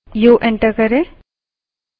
up arrow